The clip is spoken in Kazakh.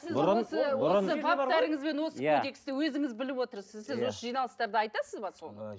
осы баптарыңыз бен осы кодексті өзіңіз біліп отырсыз сіз осы жиналыстарда айтасыз ба соны